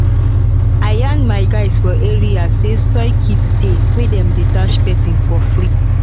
i yan my guys for area say soil test kit dey wey dem dey dash person for free.